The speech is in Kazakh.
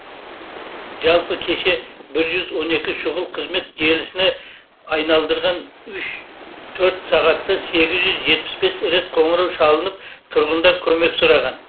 жалпы кеше жүз он екі шұғыл қызмет желісіне айналдырған үш төрт сағатта сегіз жүз жетпіс бес рет қоңырау шалынып тұрғындар көмек сұраған